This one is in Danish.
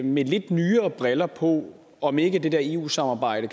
med lidt nyere briller på om ikke det der eu samarbejde